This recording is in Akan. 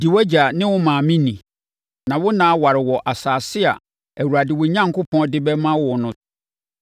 Di wʼagya ne wo maame ni na wo nna aware wɔ asase a Awurade, wo Onyankopɔn, de bɛma wo no.